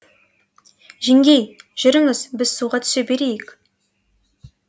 жеңгей жүріңіз біз суға түсе берейік